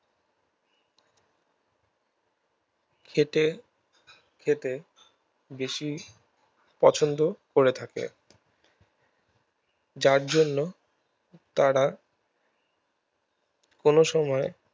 খেটে খেতে বেশি পছন্দ করে থাকে যার জন্য তারা কোনো সময়